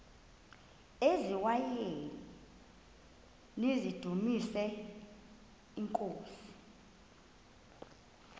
eziaweni nizidumis iinkosi